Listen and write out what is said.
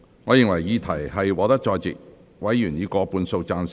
我認為議題獲得在席委員以過半數贊成。